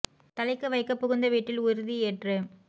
தழைக்கவைக்கப் புகுந்தவீட்டில் உறுதி யேற்று